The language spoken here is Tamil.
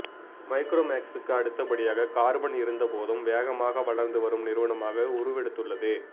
மைக்ரோமேக்ஸ்க்கு அடுத்த படியாக கார்பன் இருந்த போதும் வேகமாக வளர்நது வரும் நிறுவனமாக உறுவெடுத்துள்ளது